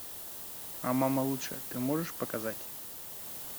а мама лучшая ты можешь показать